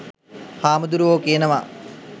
හාමුදුරුවෝ කියනවා